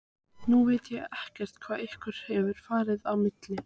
Nú veit ég ekkert hvað ykkur hefur farið á milli?